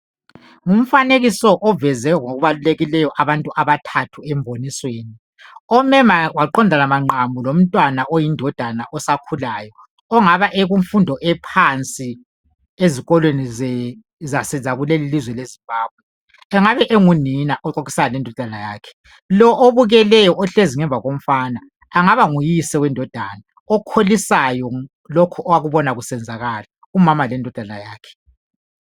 ngumfanekiso oveze ngokubalulekileyo abantu abathathu embonisweni ome maqamu lomntwana osakhulayo ongaba ekumfundo ephansi ezikolweni zakulelilizwe le Zimbabwe engabe engunina exoxisana lendodana yakhe lo obukeleyo ohlezi ngemva komfana angaba nguyise wendodana okholisayo lokhu akubona kusenzakala umama lendodana yakhe